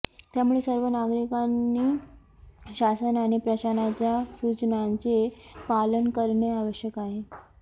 त्यामुळे सर्व नागरिकांनी शासन आणि प्रशासनाच्या सुचनांचे पालन करणे आवश्यक आहे